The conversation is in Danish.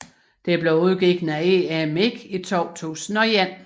Det blev udgivet af EMI i 2001